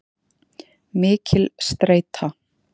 Mikil streita.